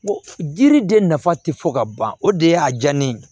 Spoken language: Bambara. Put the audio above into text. Jiri de nafa ti fɔ ka ban o de ye a diya ne ye